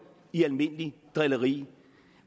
i almindeligt drilleri